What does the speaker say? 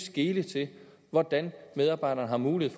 skele til hvordan medarbejderne har mulighed